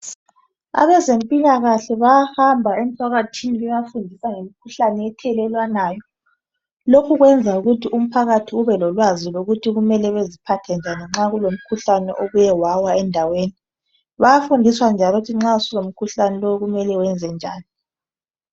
Abezempilakahle bayahamba emphakathini ,bebafundisa ngemikhuhlane ethelelelwanayo. Lokhu kwenza ukuthi umphakathi ubelolwazi lokuthi kumele beziphathe njani nxa kube lomkhuhlane obuyewawa endaweni. Bayafundiswa njalo ukuthi nxa sulomkhuhlani lowu kumele wenzenjani.